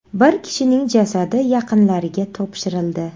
Bir kishining jasadi yaqinlariga topshirildi.